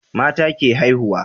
mata ke haihuwa